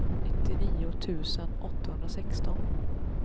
nittionio tusen åttahundrasexton